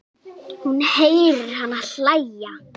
Hún heyrir hana hlæja.